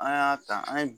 An y'a ta an ye